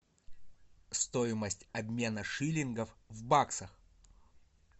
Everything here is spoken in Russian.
стоимость обмена шиллингов в баксах